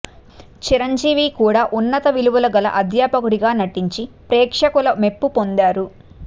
చిరంజీవి కూడా ఉన్నత విలువలు గల అధ్యాపకుడిగా నటించి ప్రేక్షకుల మెప్పు పొందారు